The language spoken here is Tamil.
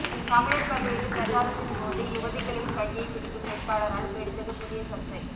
தமிழர் பகுதியில் பிரச்சாரத்தின் போது யுவதிகளின் கையை பிடிக்கும் வேட்பாளரால் வெடித்தது புதிய சர்ச்சை